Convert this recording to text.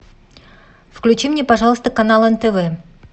включи мне пожалуйста канал нтв